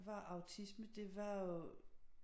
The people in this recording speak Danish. Var autisme det var jo